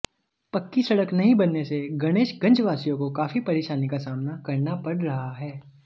पक्की सड़क नहीं बनने से गणेशगंजवासियों को काफी परेशानी का सामना करना पड़ रहा है